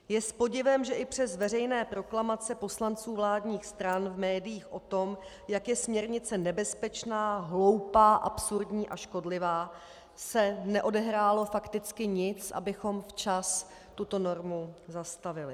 Je s podivem, že i přes veřejné proklamace poslanců vládních stran v médiích o tom, jak je směrnice nebezpečná, hloupá, absurdní a škodlivá, se neodehrálo fakticky nic, abychom včas tuto normu zastavili.